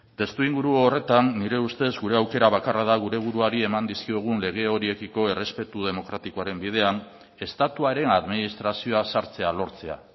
testuinguru horretan nire ustez gure aukera bakarra da gure buruari eman dizkiogun lege horiekiko errespetu demokratikoaren bidean estatuaren administrazioa sartzea lortzea